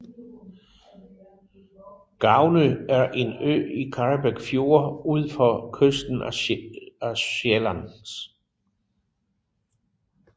Gavnø er en ø i Karrebæk Fjord ud for kysten af Sjælland